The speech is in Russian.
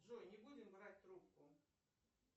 джой не будем брать трубку